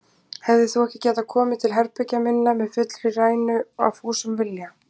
Hefðir þú ekki getað komið til herbergja minna með fullri rænu, af fúsum vilja?